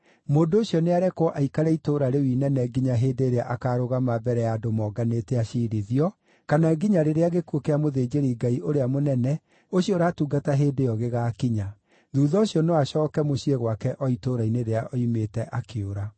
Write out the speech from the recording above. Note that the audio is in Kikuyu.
Mũndũ ũcio nĩarekwo aikare itũũra rĩu inene nginya hĩndĩ ĩrĩa akaarũgama mbere ya andũ monganĩte aciirithio, kana nginya rĩrĩa gĩkuũ kĩa mũthĩnjĩri-Ngai ũrĩa mũnene ũcio ũratungata hĩndĩ ĩyo gĩgaakinya. Thuutha ũcio no acooke mũciĩ gwake o itũũra-inĩ rĩrĩa oimĩte akĩũra.”